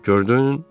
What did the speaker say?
Gördün?